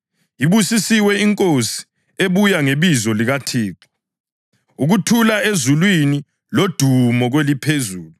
“Ibusisiwe inkosi ebuya ngebizo likaThixo!” + 19.38 AmaHubo 118.26 “Ukuthula ezulwini lodumo kweliphezulu!”